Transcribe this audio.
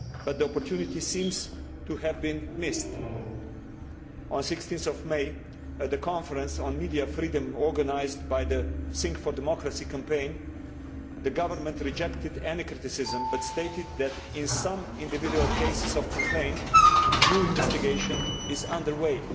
The opportunity seems to have been missed. On 16 May, at a conference on media freedom organised by the Sing for Democracy campaign, the government rejected any criticism but stated that in some individual cases of complaint due investigation is under way.